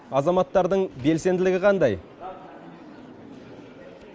азаматтардың белсенділігі қандай